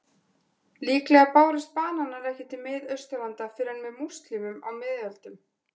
Líklega bárust bananar ekki til Miðausturlanda fyrr en með múslímum á miðöldum.